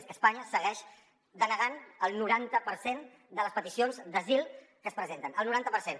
és que espanya segueix denegant el noranta per cent de les peticions d’asil que es presenten el noranta per cent